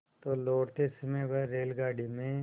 तो लौटते समय वह रेलगाडी में